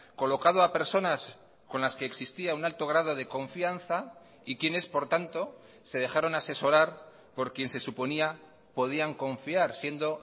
colocado a personas con las que existía un alto grado de confianza y quienes por tanto se dejaron asesorar por quien se suponía podían confiar siendo